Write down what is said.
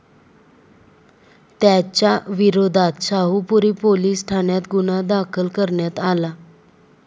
त्याच्याविरोधात शाहूपुरी पोलीस ठाण्यात गुन्हा दाखल करण्यात आला.